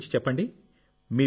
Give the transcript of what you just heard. మీ గురించి చెప్పండి